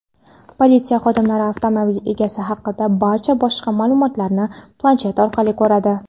Politsiya xodimlari avtomobil egasi haqidagi barcha boshqa ma’lumotlarni planshet orqali ko‘radi.